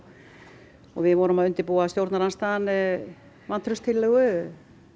við vorum að undirbúa stjórnarandstaðan vantrauststillögu